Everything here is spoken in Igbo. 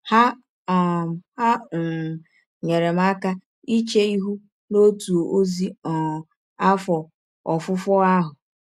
Ha um Ha um nyeere m aka iche ihụ n’ọtụ ọzi um afọ ọfụfọ ahụ.